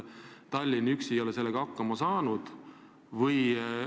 Tallinn üksi ei ole sellega hakkama saanud.